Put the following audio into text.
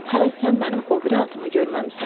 Hələ sən mənim o biri atımı görməmisən.